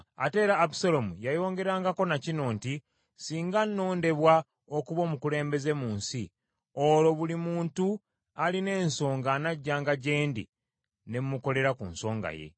Ate era Abusaalomu yayongerangako ne kino nti, “Singa nnondebwa okuba omukulembeze mu nsi, olwo buli muntu alina ensonga anajjanga gye ndi, ne mukolera ku nsonga ye.”